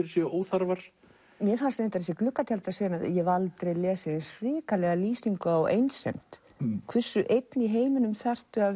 séu óþarfar mér fannst reyndar þessi ég hef aldrei lesið eins hrikalega lýsingu á einsemd hversu einn í heiminum þarftu að